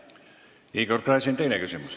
Igor Gräzin, teine küsimus.